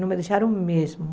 Não me deixaram mesmo.